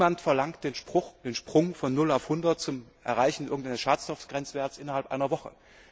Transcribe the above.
Niemand verlangt den Sprung von 0 auf 100 zum Erreichen irgendeines Schadstoffgrenzwerts innerhalb einer Woche.